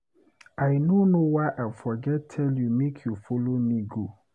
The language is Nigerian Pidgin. I no know why I forget tell you make you follow me go